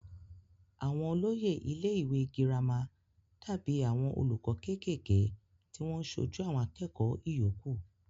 àwọn olóyè ilé ìwé girama dàbí àwọn olùkọ́ kékèké tí wọ́n sojú àwọn akẹ́kọ̀ọ́ ìyókù